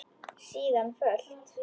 Síðan fölt.